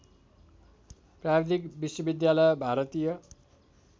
प्राविधिक विश्वविद्यालय भारतीय